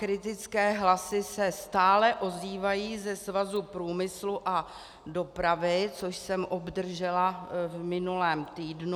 Kritické hlasy se stále ozývají ze Svazu průmyslu a dopravy, což jsem obdržela v minulém týdnu.